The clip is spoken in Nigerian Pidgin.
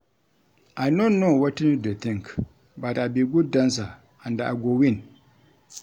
I no know wetin you dey think but I be good dancer and I go win